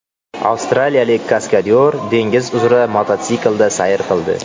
Avstraliyalik kaskadyor dengiz uzra mototsiklda sayr qildi.